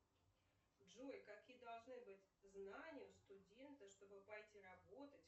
джой какие должны быть знания у студента чтобы пойти работать